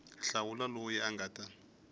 hlawula loyi a nga ta